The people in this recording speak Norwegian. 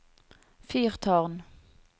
fyrtårn